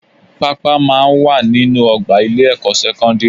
Pápá máa ń wà nínú ọgbà ilé-ẹ̀kọ́ sẹ́kọ́ndírì